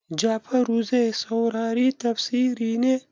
Jafaru zai saurari tafsiri ne?